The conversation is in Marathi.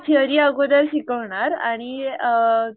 थेरी अगोदर शिकवणार आणि अ